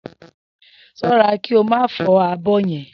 S̩ó̩ra kí o má fó̩ abó̩ ye̩n!